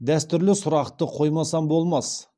дәстүрлі сұрақты қоймасам болмас